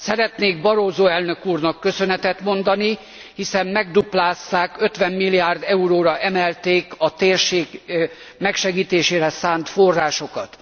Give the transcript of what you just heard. Szeretnék Barroso elnök úrnak köszönetet mondani, hiszen megduplázták, 50 milliárd euróra emelték a térség megsegítésére szánt forrásokat.